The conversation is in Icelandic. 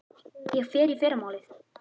Ég fer í fyrramálið.